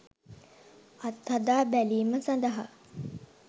අත්හදා බැලීම සඳහා